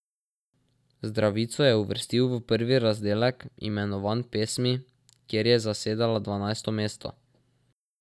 Zdravico je uvrstil v prvi razdelek, imenovan Pesmi, kjer je zasedala dvanajsto mesto.